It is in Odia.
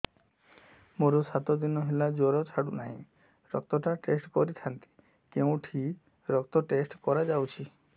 ମୋରୋ ସାତ ଦିନ ହେଲା ଜ୍ଵର ଛାଡୁନାହିଁ ରକ୍ତ ଟା ଟେଷ୍ଟ କରିଥାନ୍ତି କେଉଁଠି ରକ୍ତ ଟେଷ୍ଟ କରା ଯାଉଛି